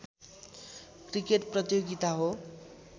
cricket प्रतियोगिता हो